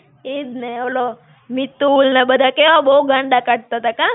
ઈજ ને ઓલો, મિતુલ ને બધા કેવા બહું ગાંડા કાઢ઼તા તા કાં?